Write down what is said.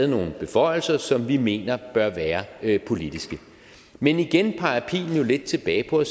nogle beføjelser som vi mener bør være politiske men igen peger pilen jo lidt tilbage på